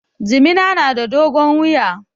Jimina na da dogon wuya